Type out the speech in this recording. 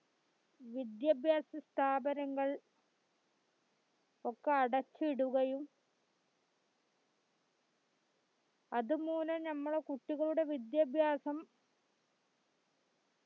വിദ്യാഭ്യാസ സ്ഥാപനങ്ങൾ ഒക്കെ അടച്ചിടുകയും അതുമൂലം ഞമ്മളുടെ കുട്ടികളുടെ വിദ്യാഭ്യാസം